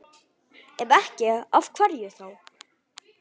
Ef ekki, af hverju þá?